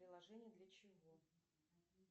приложение для чего